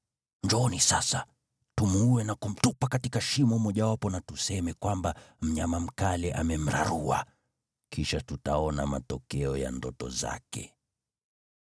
Njooni sasa, tumuue na kumtupa katika shimo mojawapo na tuseme kwamba mnyama mkali amemrarua. Kisha tutaona matokeo ya ndoto zake.”